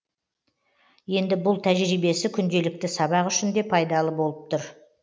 енді бұл тәжірибесі күнделікті сабақ үшін де пайдалы болып тұр